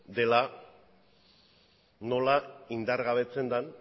dela nola indargabetzen den